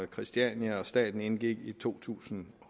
christiania og staten indgik i to tusind